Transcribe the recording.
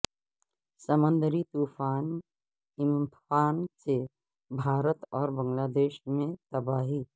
سمندری طوفان ایمفان سے بھارت اور بنگلہ دیش میں تباہی